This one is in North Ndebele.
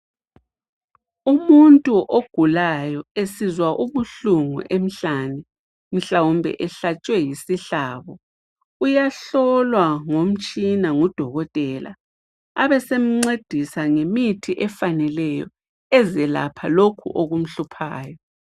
Umuntu ogulayo esizwa ubuhlungu emhlane mhlawumbe ehlatshwe yisihlabo uyahlolwa ngomtshina ngudokotela. Abesemncedisa ngemithi efaneleyo ezelapha lokhu okumhluphayo.